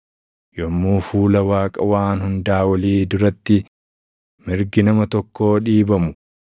yommuu fuula Waaqa Waan Hundaa Olii duratti mirgi nama tokkoo dhiibamu,